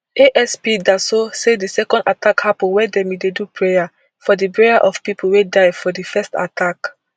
asp daso say di second attack happun wen dem bin dey do prayer for di burial of pipo wey die for di first attack